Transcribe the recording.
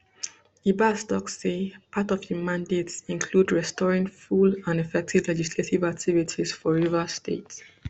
ibas tok say part of im mandate include restoring full and effective legislative activities for rivers state